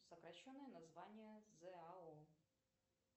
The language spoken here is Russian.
сокращенное название зао